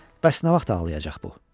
Bəs nə vaxt ağlayacaq bu?